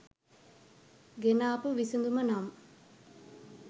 ගෙනාපු විසඳුමනම්